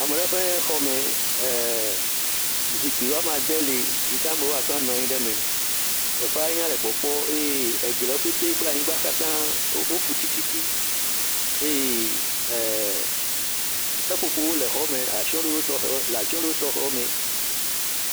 Ame ɖe ƒe xɔme, zikpui woame ade le yike amewo woate ŋu anɔ anyi ɖe me. Teƒea nya le kpɔkpɔ eye egliwo kple anyigbawo kata wo fuu tsitsi eye eh, seƒoƒowo le xɔ me le atsye ɖoɖo tɔxe me.